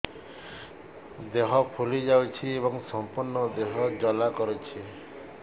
ଦେହ ଫୁଲି ଯାଉଛି ଏବଂ ସମ୍ପୂର୍ଣ୍ଣ ଦେହ ଜ୍ୱାଳା କରୁଛି